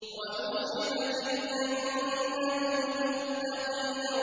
وَأُزْلِفَتِ الْجَنَّةُ لِلْمُتَّقِينَ